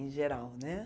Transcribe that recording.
Em geral, né?